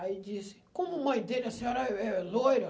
Aí disse, como mãe dele, a senhora é loira?